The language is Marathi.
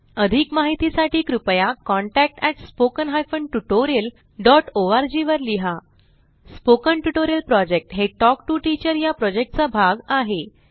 अधिक माहितीसाठी कृपया contact at spoken hyphen tutorial dot ORG वर लिहा स्पोकन ट्युटोरियल प्रॉजेक्ट हे टॉक टू टीचर या प्रॉजेक्टचा भाग आहे